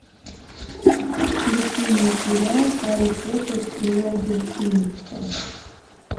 включи мне сериал гарри поттер и орден феникса